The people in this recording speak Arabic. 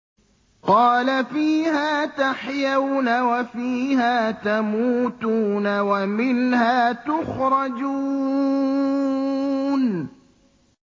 قَالَ فِيهَا تَحْيَوْنَ وَفِيهَا تَمُوتُونَ وَمِنْهَا تُخْرَجُونَ